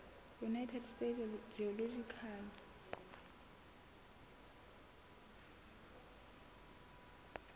united states geological